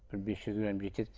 бір бес жүз грамм жетеді